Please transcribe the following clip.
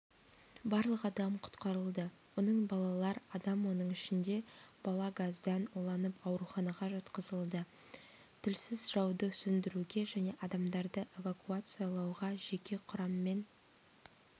барлығы адам құтқарылды оның балалар адам оның ішінде бала газдан уланып ауруханаға жатқызылды тілсіз жауды сөндіруге және адамдарды эвакуациялауға жеке құрамнен